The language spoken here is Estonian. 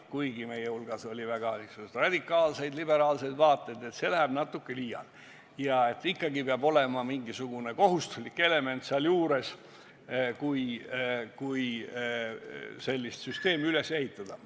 Kuigi osa meist pooldas väga radikaalseid liberaalseid vaateid, jõuti järeldusele, et see läheb juba liiale ja ikkagi peab olema mingisugune kohustuslik element mängus, kui sellist süsteemi üles ehitada.